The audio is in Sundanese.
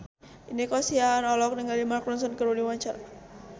Nico Siahaan olohok ningali Mark Ronson keur diwawancara